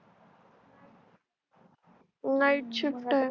night shift आहे